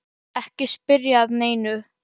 Ekki spyrja að neinu!